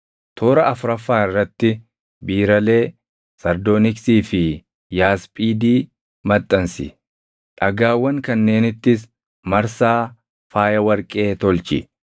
toora afuraffaa irratti biiralee, sardooniksii fi yaasphiidi maxxansi. Dhagaawwan kanneenittis marsaa faaya warqee tolchi.